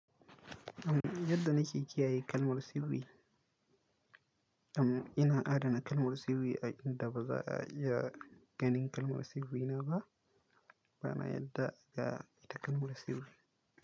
Yadda na kiyaye kalmar sirri? Am, ina adana kalmar sirri a inda ba za a iya ganin kalmar sirrina ba, bana yadda ga ita kalmar sirri.